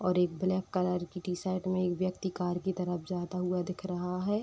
और एक black colour की टी-शर्ट में एक व्यक्ति कार की तरफ जाता हुआ दिख रहा है।